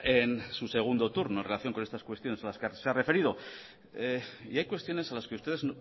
en su segundo turno en relación con estas cuestiones a las que se ha referido y hay cuestiones a las que ustedes